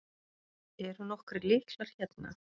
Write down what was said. Eru nokkrir lyklar hérna?